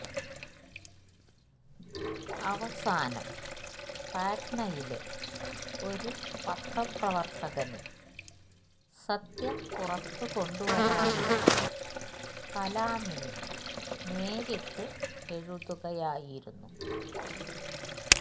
അവസാനം പാട്നയിലെ ഒരു പത്രപ്രവര്ത്തകന് സത്യം പുറത്തുകൊണ്ടുവരാനായി കലാമിന് നേരിട്ട് എഴുതുകയായിരുന്നു